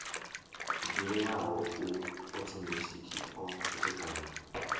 ḓivheaho a othomethikhi o khethekanywa